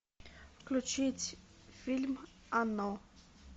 включить фильм оно